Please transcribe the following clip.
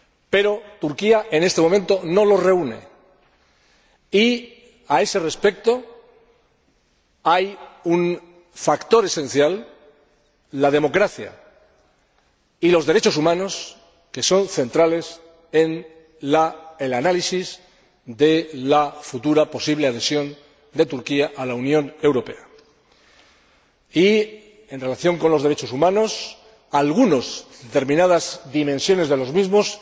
Pero Turquía, en este momento, no los reúne y, a ese respecto, hay dos factores esenciales, la democracia y los derechos humanos, que son centrales en el análisis de la futura posible adhesión de Turquía a la Unión Europea. En relación con los derechos humanos, algunos, determinadas dimensiones de los mismos,